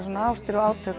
ástir og átök